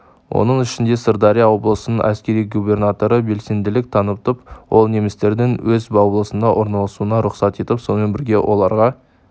оның ішінде сырдария облысының әскери губернаторы белсенділік танытып ол немістердің өз облысына орналасуына рұқсат етіп сонымен бірге оларға